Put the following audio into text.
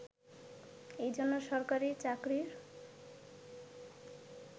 এজন্য সরকারি চাকরির